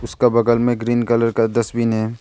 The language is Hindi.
उसका बगल में ग्रीन कलर का डस्टबिन है।